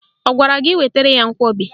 Ọ gwara gị wetara ya nkwọbi?